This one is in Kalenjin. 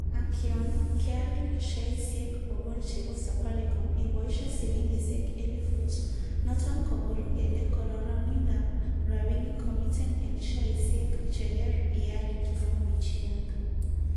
Ak yon keal sheaisiek bogol chebo Safaricom iboishe silingisiek elifut, noton koboru kele kororonindab rabinik komiten en sheaisiek cheker ial, Kimwa Bichianga